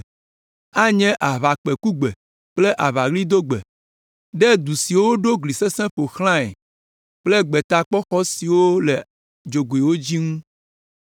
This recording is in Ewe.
Anye aʋakpẽkugbe kple aʋaɣlidogbe, ɖe du siwo woɖo gli sesẽwo ƒo xlãe kple gbetakpɔxɔ siwo le dzogoe dzi ŋu.